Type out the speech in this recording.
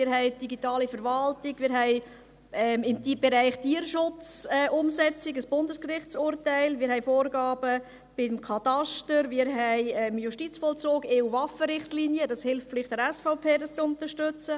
Wir haben den Bereich «digitale Verwaltung», wir haben ein Bundesgerichtsurteil im Bereich «Tierschutz-Umsetzung», wir haben Vorgaben beim Kataster, und wir haben den Justizvollzug und die EU-Waffenrichtlinie – vielleicht hilft dies der SVP, dies zu unterstützen.